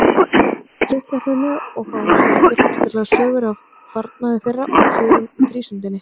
Litla-Hrauni og fá að heyra fjölbreytilegar sögur af farnaði þeirra og kjörum í prísundinni.